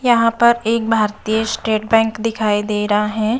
यहाँ पर एक भारतीय स्टेट बैंक दिखाई दे रहा है।